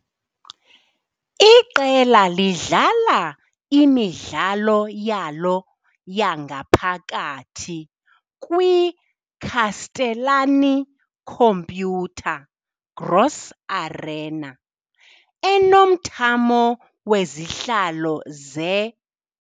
Iqela lidlala imidlalo yalo yangaphakathi kwi -Castellani-Computer Gross Arena, enomthamo wezihlalo ze- .